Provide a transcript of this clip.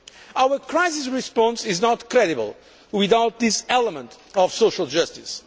Our crisis response is not credible without this element of social justice.